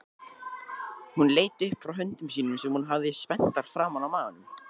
Hún leit upp frá höndum sínum sem hún hafði spenntar framan á maganum.